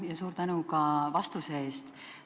Ja suur tänu ka vastuse eest!